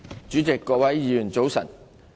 主席、各位議員早晨。